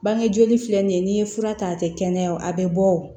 Bange joli filɛ nin ye n'i ye fura ta a tɛ kɛnɛya o a bɛ bɔ o